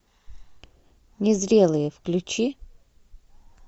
незрелые включи